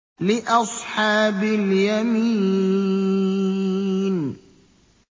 لِّأَصْحَابِ الْيَمِينِ